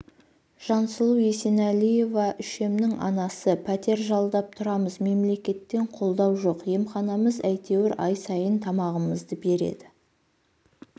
жансұлу есенәлиева үшемнің анасы пәтер жалдап тұрамыз мемлекеттен қолдау жоқ емханамыз әйтеуір ай сайын тамағымызды береді